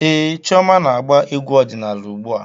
Ee, Chioma na-agba egwú ọdịnaala ugbu a.